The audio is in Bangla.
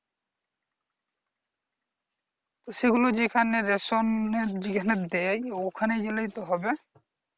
সেগুলো যেখানে ration যেখানে দেয় ওখানে গেলেই তো হবে।